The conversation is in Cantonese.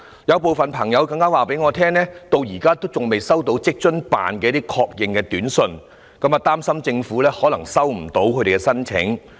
"有部分朋友更加告訴我，他們至今仍然未收到在職家庭津貼辦事處的確認短訊，擔心政府可能收不到他們的申請。